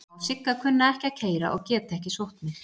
Alma og Sigga kunna ekki að keyra og geta ekki sótt mig.